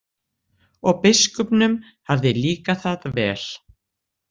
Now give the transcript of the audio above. Og biskupnum hafði líkað það vel.